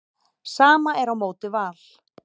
Sama er á móti Val.